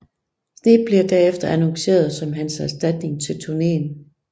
Sneap blev derefter annonceret som hans erstatning til turneen